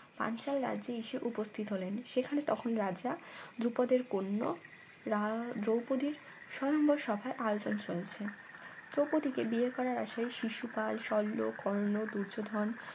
পাঞ্চাল রাজ্যে এসে উপস্থিত হলেন সেখানে তখন রাজা ধ্রুপদের কোন্নো রা দ্রৌপদীর স্বয়ম্বর সভায় আয়োজন চলছে দ্রৌপদী কে বিয়ে করার আশায় শিশুপাল শল্য কর্ণ দূর্যোধন